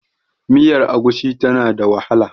miyar agushi tana da wahala